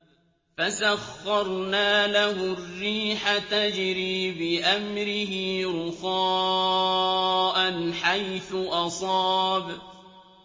فَسَخَّرْنَا لَهُ الرِّيحَ تَجْرِي بِأَمْرِهِ رُخَاءً حَيْثُ أَصَابَ